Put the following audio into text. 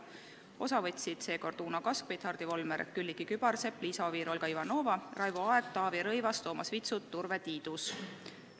Osa võtsid seekord Uno Kaskpeit, Hardi Volmer, Külliki Kübarsepp, Liisa Oviir, Olga Ivanova, Raivo Aeg, Taavi Rõivas, Toomas Vitsut ja Urve Tiidus.